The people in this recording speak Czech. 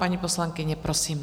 Paní poslankyně, prosím.